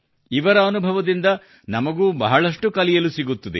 ಇವರ ಅನುಭವದಿಂದ ನಮಗೂ ಬಹಳಷ್ಟು ಕಲಿಯಲು ಸಿಗುತ್ತದೆ